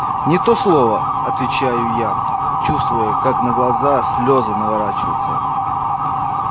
не то слово отвечаю я чувствуя как на глаза слёзы наворачиваются